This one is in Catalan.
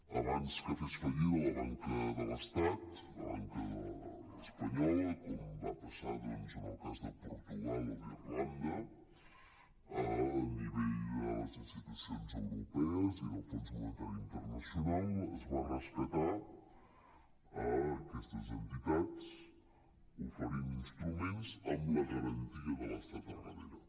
abans que fes fallida la banca de l’estat la banca espanyola com va passar doncs en el cas de portugal o d’irlanda a nivell de les institucions europees i del fons monetari internacional es van rescatar aquestes entitats oferint instruments amb la garantia de l’estat al darrere